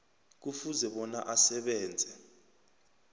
kufuze bona asebenze